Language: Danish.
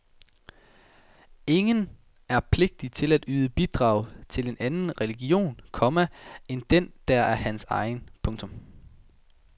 Ingen er pligtig til at yde bidrag til en anden religion, komma end den der er hans egen. punktum